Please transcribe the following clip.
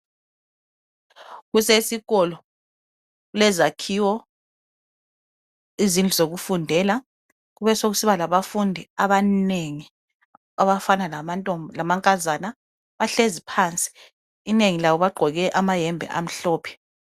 Kusesikolo, kulezakhiwo, izindlu zokufundela, kubesokusiba labafundi abanengi abafana lamantomb lamankazana, bahlezi phansi inengi labo bagqoke amayembe amhlophe